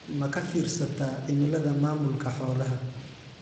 Ma ka fiirsataa cimilada maamulka xoolaha?